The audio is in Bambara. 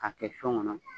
K'a kɛ sɔn kɔnɔ